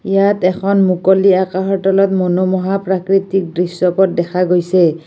ইয়াত এখন মুকলি আকাশৰ তলত মনোমোহা প্ৰাকৃতিক দৃশ্যপট দেখা গৈছে।